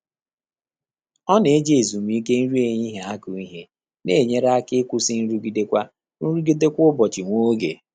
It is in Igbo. Ọ́ nà-éjí ézùmíké nrí éhíhíé ákụ́ íhé, nà-ényéré áká ị́kwụ́sị́ nrụ́gídé kwá nrụ́gídé kwá ụ́bọ̀chị̀ nwá ògé.